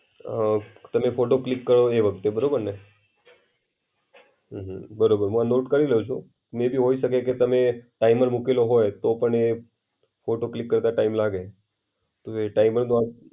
અમ તમે photo click કર્યો બરાબરને હમ બરોબર હું આ નોટ કરી લેવ છુ. મેયબી હોય શકે કે તમે ટાઈમર મોકેલો હોય તો પણ ફોટો ક્લિક કરતા ટાઈમ લાગે. એ ટાઈમરમાં